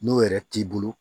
N'o yɛrɛ t'i bolo